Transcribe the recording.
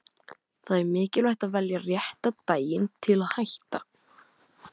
Það er mikilvægt að velja rétta daginn til að hætta.